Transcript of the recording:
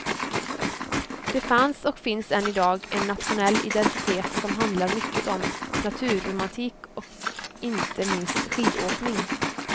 Det fanns och finns än idag en nationell identitet som handlar mycket om naturromantik och inte minst skidåkning.